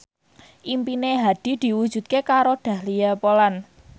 impine Hadi diwujudke karo Dahlia Poland